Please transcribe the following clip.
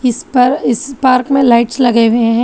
इस पर इस पार्क में लाइट्स लगे हुए हैं।